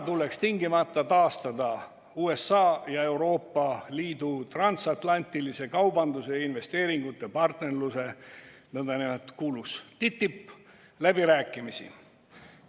Tuleks tingimata taastada USA ja Euroopa Liidu transatlantilise kaubandus‑ ja investeerimispartnerluse läbirääkimised, kuulus nn TTIP.